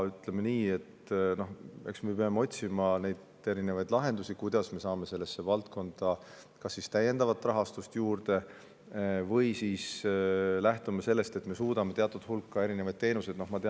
Ütleme nii, et eks me peame otsima lahendusi, kuidas me saame sellesse valdkonda kas täiendavat rahastust juurde või lähtume sellest, et me suudame teatud hulka erinevaid teenuseid integreerida.